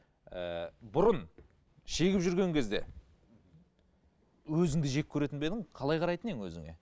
ы бұрын шегіп жүрген кезде өзіңді жек көретін бе едің қалай қарайтын едің өзіңе